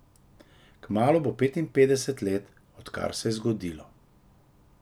Kmalu bo petinpetdeset let, odkar se je zgodilo.